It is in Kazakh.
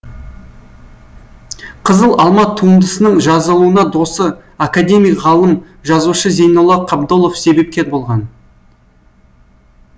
қызыл алма туындысының жазылуына досы академик ғалым жазушы зейнолла қабдолов себепкер болған